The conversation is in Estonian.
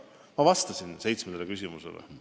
Ma vastasin seitsmendale küsimusele.